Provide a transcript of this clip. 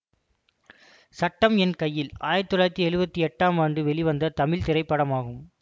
சட்டம் என் கையில் ஆயிரத்தி தொள்ளாயிரத்தி எழுவத்தி எட்டாம் ஆண்டு வெளிவந்த தமிழ் திரைப்படமாகும்